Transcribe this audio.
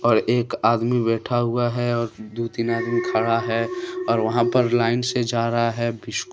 और एक आदमी बैठा हुआ है और दो तीन आदमी खड़ा है और वहां पर लाइन से जा रहा हैं बिस्कुट--